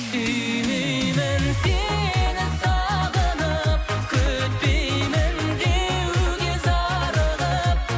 сүймеймін сені сағынып күтпеймін деуге зарығып